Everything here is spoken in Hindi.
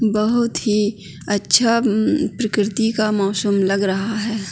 बहोत ही अच्छा म-म प्रकृति का मौशम लग रहा है।